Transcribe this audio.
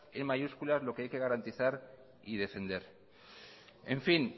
en mayúsculas lo que hay que garantizar y defender en fin